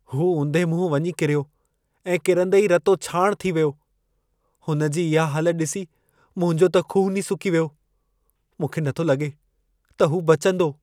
हू उंधे मुंहुं वञी किरियो ऐं किरंदे ई रतो छाणि थी वियो। हुन जी इहा हालत ॾिसी मुंहिंजो त ख़ून ई सुकी वियो। मूंखे नथो लॻे त हू बचंदो।